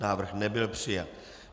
Návrh nebyl přijat.